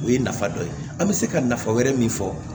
O ye nafa dɔ ye an bɛ se ka nafa wɛrɛ min fɔ